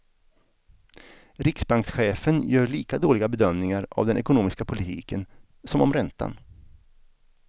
Riksbankschefen gör lika dåliga bedömningar av den ekonomiska politiken som om räntan.